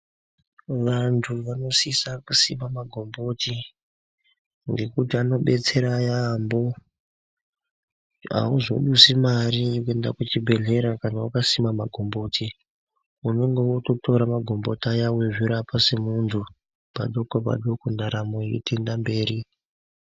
Vanthu vanosisa kuziva magomboti ngekuti anodetsera yaampho azodusi mari yekuenda kucheibhedlera kana wakasima magomboti unenge wototora magomboti aya weizvirapa semunthu padoko padoko ndaramo yeitoenda mberi.